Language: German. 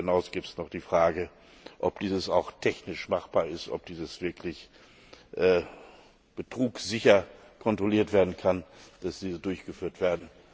Darüber hinaus gibt es noch die Frage, ob dies auch technisch machbar ist, ob wirklich betrugsicher kontrolliert werden kann, dass dies durchgeführt wird.